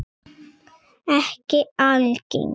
Ekki algeng.